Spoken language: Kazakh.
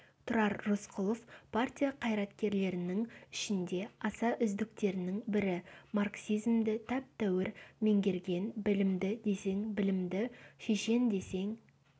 тұрар рысқұлов партия қайраткерлерінің ішінде аса үздіктерінің бірі марксизмді тәп-тәуір меңгерген білімді десең білімді шешен десең